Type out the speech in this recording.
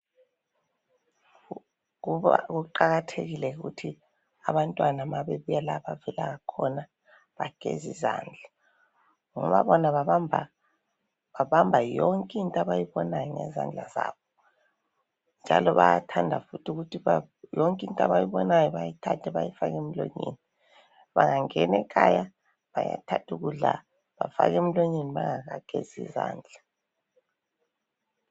Kuqakathekile ukuthi abantwana nxa bebuya lapho abavela khona bageze izandla ngoba bona babamba yonke into abayibonayo ngezandla zabo njalo bayathanda futhi ukuthi yonke into abayibonayo bafake emlonyeni bangangena ekhaya bayathatha ukudla bafake emlonyeni bengakagezi izandla